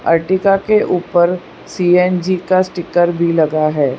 Ertiga के ऊपर CNG का स्टीकर भी लगा है।